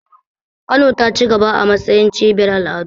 Kano ta cigaba a matsayin cibiyar al'adu.